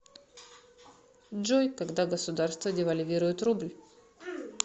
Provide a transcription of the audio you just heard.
джой когда государство девальвирует рубль